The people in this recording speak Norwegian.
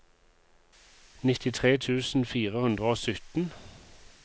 nittitre tusen fire hundre og sytten